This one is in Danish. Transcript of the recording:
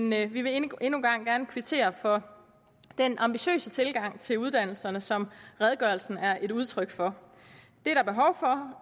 men vi vil endnu en gang gerne kvittere for den ambitiøse tilgang til uddannelserne som redegørelsen er et udtryk for